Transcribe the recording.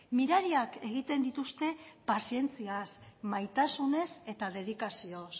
mirariak egiten dituzte pazientziaz maitasunez eta dedikazioz